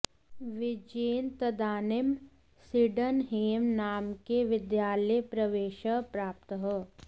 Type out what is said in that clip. विजयेन तदानीं Sydenham नामके विद्यालये प्रवेशः प्राप्तः